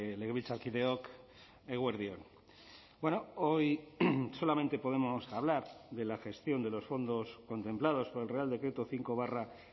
legebiltzarkideok eguerdi on hoy solamente podemos hablar de la gestión de los fondos contemplados por el real decreto cinco barra